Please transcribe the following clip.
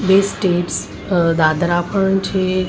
બે સ્ટેર્સ અહ દાદરા પણ છે--